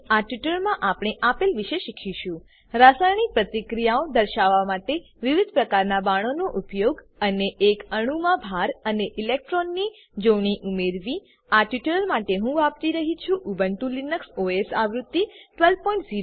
આ ટ્યુટોરીયલમાં આપણે આપેલ વિશે શીખીશું રાસાયણિક પ્રતિક્રિયાઓ દર્શાવવા માટે વિવિધ પ્રકારનાં બાણોનો ઉપયોગ અને એક અણુમાં ભાર અને ઇલેક્ટ્રોનની જોડણી ઉમેરવી આ ટ્યુટોરીયલ માટે હું વાપરી રહ્યી છું ઉબુન્ટુ લિનક્સ ઓએસ આવૃત્તિ 1204